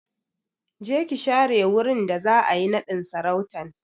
Je ki share wurin da za'a yi naɗin sarautan!